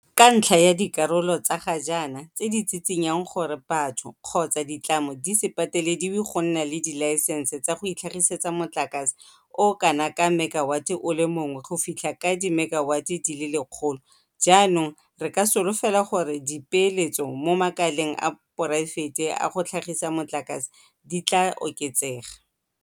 Kantlha ya dikarolo tsa ga jaana tse di tshitshinyang gore batho kgotsa ditlamo di se patelediwe go nna le dilaesense tsa go itlhagisetsa motlakase o o kana ka mekawate o le mongwe go fitlha ka dimekawate di le lekgolo, jaanong re ka solofela gore dipeeletso mo makaleng a poraefete a go tlhagisa motlakase di tla oketsega.